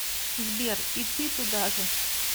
сбер и ты туда же